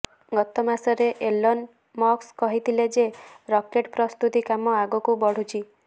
ଗତ ମାସରେ Elon Musk କହିଥିଲେ ଯେ ରକେଟ୍ ପ୍ରସ୍ତୁତି କାମ ଆଗକୁ ବଢୁଛି